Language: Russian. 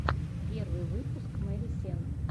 первый выпуск мэри сенн